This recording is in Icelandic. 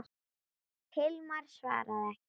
Hilmar svaraði ekki.